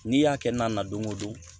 N'i y'a kɛ na na don o don